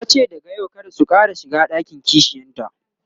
tace daga yau kada su Ƙara shiga ɗakin kishiyanta